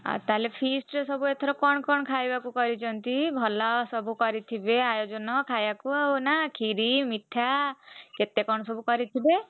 ଆଉ ତାହେଲେ feast ରେ ସବୁ ଏଥର କଣ କଣ ଖାଇବାକୁ କରିଛନ୍ତି ଭଲ ସବୁ କରିଥିବେ ଆୟୋଜନ ଖାଇଆକୁ ଆଉ ନା କ୍ଷୀରି, ମିଠା କେତେ କଣ ସବୁ କରିଥିବେ?